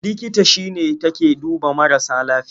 Likita shi ne take duba marasa lafiya.